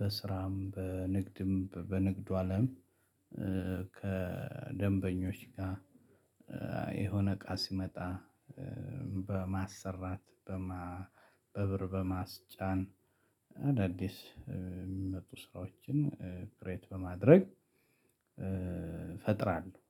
በስራም በንግድም በንግዱ አለም ከደንበኞች ጋር የሆነ እቃ ስመጣ አዳዲስ የሚመጡ ስራዎችን ክሬት በማድረግ ፈጥራለሁ።